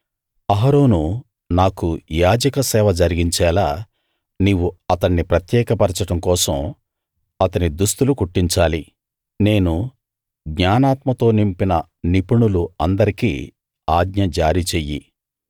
అహరోను నాకు యాజక సేవ జరిగించేలా నీవు అతణ్ణి ప్రత్యేక పరచడం కోసం అతని దుస్తులు కుట్టించాలి నేను జ్ఞానాత్మతో నింపిన నిపుణులు అందరికీ ఆజ్ఞ జారీ చెయ్యి